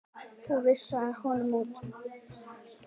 Þú vísaðir honum út.